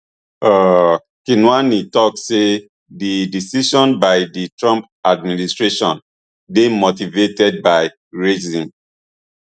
um kinuani tok say di decision by di trump administration dey motivated by racism